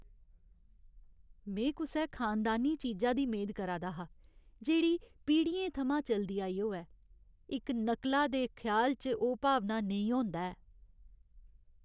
में कुसै खानदानी चीजा दी मेद करा दा हा, जेह्ड़ी पीढ़ियें थमां चलदी आई होऐ। इक नकला दे ख्याल च ओह् भावना नेईं होंदा ऐ।